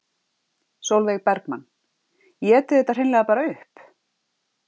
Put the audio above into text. Sólveig Bergmann: Éti þetta hreinlega bara upp?